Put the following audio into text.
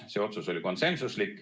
See otsus oli konsensuslik.